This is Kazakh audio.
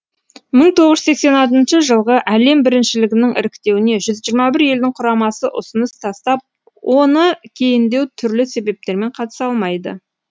мың тоғыз жүз сексен алтыншы жылғы әлем біріншілігінің іріктеуіне жүз жиырма бір елдің құрамасы ұсыныс тастап оны кейіндеу түрлі себептермен қатыса алмады